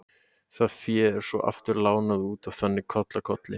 Það fé er svo aftur lánað út og þannig koll af kolli.